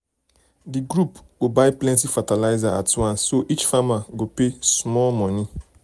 the group go buy plenty fertilizer at plenty fertilizer at once so each farmer go pay small money.